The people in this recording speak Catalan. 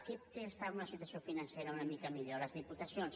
qui està en una situació financera una mica millor les diputacions